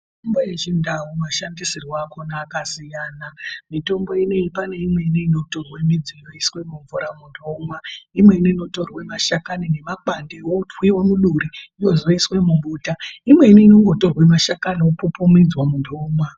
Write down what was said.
Mitombo yechindau mashandisirwe Aya akasiyana . Mitombo ineyi pane imweni inotorwe midzi yoiswe mumvura muntu omwa, imweni inotorwe mashakani nemakwande otorwa otwiwe muduri ozoiswe mumbuta , imweni inongototwa mashakani opupumidzwa muntu omwa .